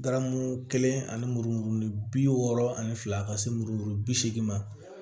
Garamu kelen ani mururuni bi wɔɔrɔ ani fila ka se muru bi seegin ma